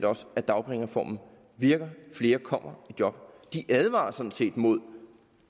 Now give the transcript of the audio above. også at dagpengereformen virker flere kommer i job de advarer sådan set mod